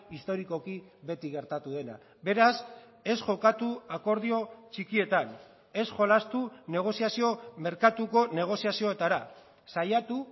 historikoki beti gertatu dena beraz ez jokatu akordio txikietan ez jolastu negoziazio merkatuko negoziazioetara saiatu